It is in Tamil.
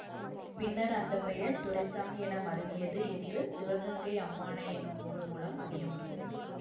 பின்னர் அந்த பெயர் துரைச்சாமி என மருவியது என்று சிவகங்கை அம்மானை எனும் நூல் மூலம் அறிய முடிகிறது